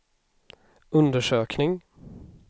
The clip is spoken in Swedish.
undersökning